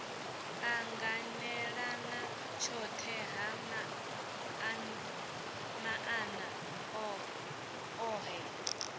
anganelana tshohe ha maana ohe